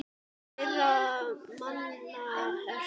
Hverra manna ert þú?